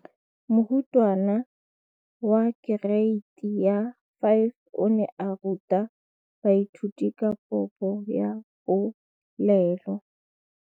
Moratabana wa kereiti ya 5 o ne a ruta baithuti ka popô ya polelô.